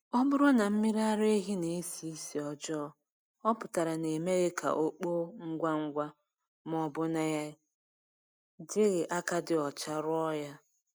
Ọ bụrụ na mmiri ara ehi na-esi ísì ọjọọ, ọ pụtara na e meghị ka o kpoo ngwa ngwa ma ọ bụ na e jighị aka dị ọcha rụọ ya